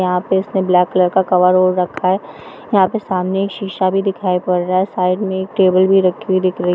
यहाँ पे उसने ब्लैक कलर का कवर ओढ़ रखा है यहां पे सामने एक शीशा भी दिखाई पड़ रहा है साइड में एक टेबल भी रखी हुई दिख रही है --